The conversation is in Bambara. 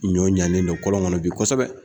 Ɲɔ ɲanen don kɔlɔn kɔnɔ bi kosɛbɛ.